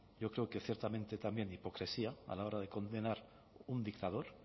yo creo que ciertamente también hipocresía a la hora de condenar un dictador